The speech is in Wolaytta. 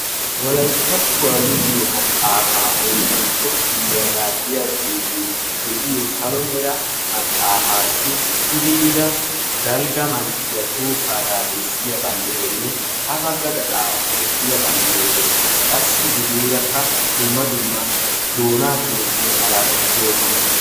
Wolayttattuwa luxettiyo maxaafa oyddantto kifiliyaga giya xuufee deiyo sallo mera maxaafasi puddera dalgga manttiya tohossagga bessiya banddiraynne ha bagga gaxxaara Toophphiya banddira dees, dumma dumma doonaa timirttiya malattati doossona.